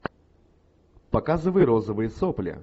показывай розовые сопли